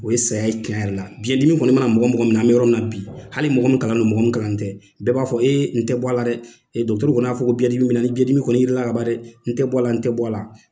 O ye saya ye tiɲɛ yɛrɛ la biɲɛdimi kɔni mana mɔgɔ mɔgɔ minɛ an bɛ yɔrɔ min na bi hali mɔgɔ min kalannen don mɔgɔ min kalannen tɛ bɛɛ b'a fɔ n tɛ bɔ a la dɛ dɔgɔtɔrɔw kɔni y'a fɔ ko biɲɛdimi bɛ n na ni biɲɛdimi kɔni yel'i la kaban dɛ n bɔ a la n tɛ bɔ a la.